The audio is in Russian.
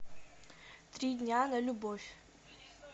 три дня на любовь